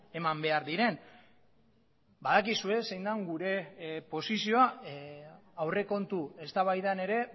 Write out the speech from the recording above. eman behar diren badakizue zein den gure posizioa aurrekontu eztabaidan ere